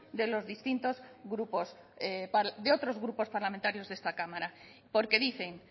de los otros grupos parlamentarios de esta cámara porque dicen